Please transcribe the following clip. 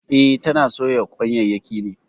E, tana soya kwanyayyaki ne.